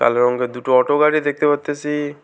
কালো রঙ্গের দুটো অটো বাইরে দেখতে পারতাসি।